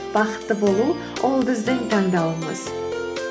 бақытты болу ол біздің таңдауымыз